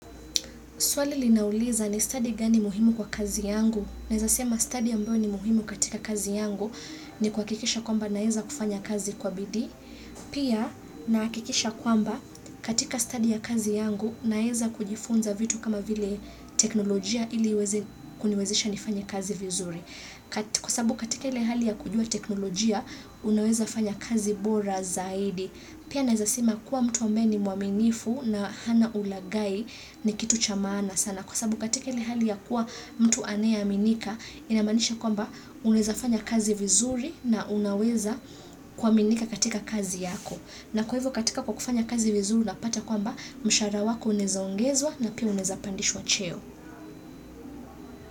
Swali linauliza ni study gani muhimu kwa kazi yangu. Naweza sema study ambayo ni muhimu katika kazi yangu ni kuhakikisha kwamba naweza kufanya kazi kwa bidii. Pia nahakikisha kwamba katika study ya kazi yangu naweza kujifunza vitu kama vile teknolojia ili iweze, kuniwezesha nifanye kazi vizuri. Kwa sababu katika ile hali ya kujua teknolojia unaweza fanya kazi bora zaidi. Pia naweza sema kuwa mtu ambaye ni mwaminifu na hana ulagai ni kitu cha maana sana. Kwa sababu katika ile hali ya kuwa mtu anayeaminika inamaanisha kwamba unawezafanya kazi vizuri na unaweza kuaminika katika kazi yako. Na kwa hivyo katika kwa kufanya kazi vizuri unapata kwamba mshahara wako unaweza ongezwa na pia unaweza pandishwa cheo.